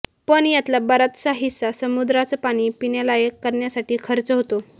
पण यातला बराचसा हिस्सा समुद्राचं पाणी पिण्यालायक करण्यासाठी खर्च होतो